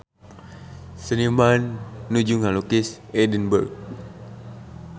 Seniman nuju ngalukis Edinburg